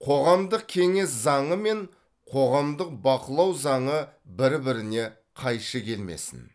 қоғамдық кеңес заңы мен қоғамдық бақылау заңы бір біріне қайшы келмесін